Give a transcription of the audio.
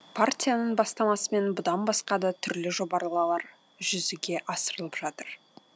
партияның бастамасымен бұдан басқа да түрлі жобалар жүзеге асырылып жатыр